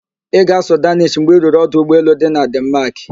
Ị ga-asụ Daanish mgbe i ruru ọdụ ụgbọelu dị na Denmaak?